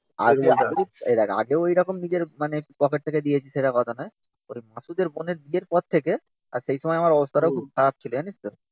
আগে আগে এই দেখ আগেও ওইরকম নিজের পকেট থেকে দিয়েছি সেটা কথা না। ওই মাসুদের বোনের বিয়ের পর থেকে আর সেই সময় আমার অবস্থা টা খুব খারাপ ছিল। জানিস তো?